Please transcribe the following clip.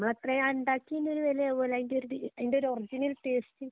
നമ്മള് അത്രയും ഉണ്ടാക്കിയതിന്റെ ഒരു വിലയും അതുപോലെ അതിന്റെ ഒരു അതിന്റെ ഒരു ഒറിജിനല് ടേസ്റ്റ്